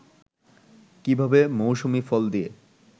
কীভাবে মৌসুমি ফল দিয়ে